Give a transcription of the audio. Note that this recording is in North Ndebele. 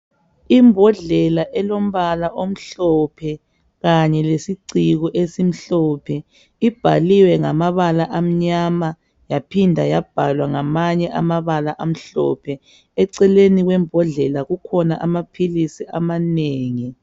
Imbodlela elombala omhlophe kanye lesiciko esimhlophe ibhaliwe ngamabala amnyama yaphinda yabhalwa ngamanye amabala amhlophe, eceleni kwembodlela kukhona amaphilisi amanengi.